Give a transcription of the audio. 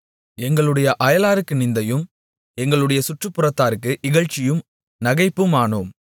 எங்களுடைய அயலாருக்கு நிந்தையும் எங்களுடைய சுற்றுப்புறத்தாருக்கு இகழ்ச்சியும் நகைப்புமானோம்